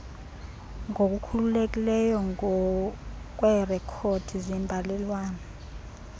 ngokukhululekileyo ngokweerekhodi zembalelwano